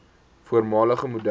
voormalige model